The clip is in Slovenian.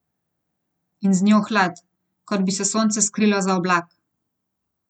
In z njo hlad, kot bi se sonce skrilo za oblak.